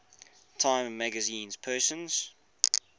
time magazine persons